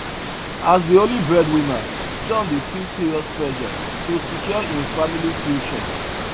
as the only breadwinner john dey feel serious pressure to secure him family future